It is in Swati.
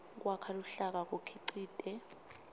kwakha luhlaka kukhicite